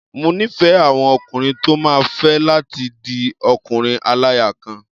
Mo nífẹ̀ẹ́ àwọn ọkùnrin tó máa fẹ́ láti di ọkùnrin-aláya-kan.